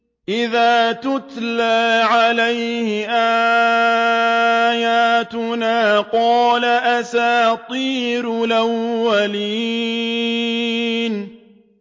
إِذَا تُتْلَىٰ عَلَيْهِ آيَاتُنَا قَالَ أَسَاطِيرُ الْأَوَّلِينَ